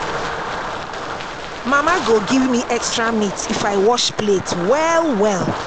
Mama go give me extra meat if I wash plate well well.